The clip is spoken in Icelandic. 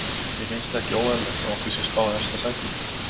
Mér finnst ekki óeðlilegt að okkur sé spáð efsta sæti.